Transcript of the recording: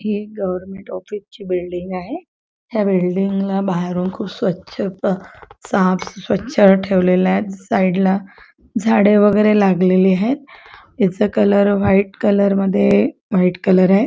ही एक गवर्नमेंट ऑफिसची बिल्डिंग आहे ह्या बिल्डिंगला बाहेरून खूप स्वच्छ साफ स्वच्छ ठेवलेलय साइडला झाडे वेगेरे लागलेले हायत याचा कलर व्हाइट मध्ये व्हाइट कलरय .